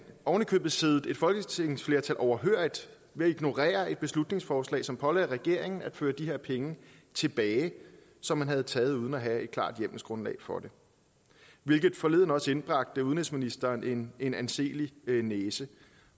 ovenikøbet siddet et folketingsflertal overhørigt ved at ignorere et beslutningsforslag som pålagde regeringen at føre de her penge tilbage som man havde taget uden at have et klart hjemmelsgrundlag for det hvilket forleden også indbragte udenrigsministeren en en anselig næse